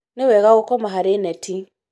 nĩ wega gũkoma harĩ neti